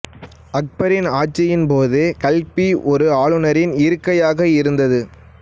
அக்பரின் ஆட்சியின் போது கல்பி ஒரு ஆளுநரின் இருக்கையாக இருந்தது